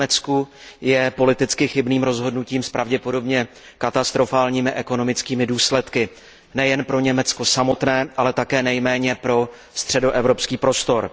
v Německu, je politicky chybným rozhodnutím s pravděpodobně katastrofálními ekonomickými důsledky nejen pro Německo samotné, ale také nejméně pro středoevropský prostor.